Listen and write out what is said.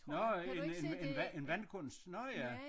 Nårh en en en vandkunst nåh ja